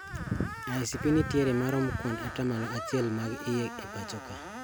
ICP nitiere e maromo kuand atamalo achiel mag iye e pacho ka